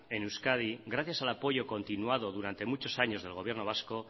en euskadi gracias al apoyo continuado durante muchos años del gobierno vasco